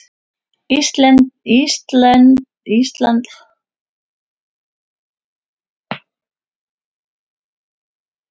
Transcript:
Íslandi voru karlmenn.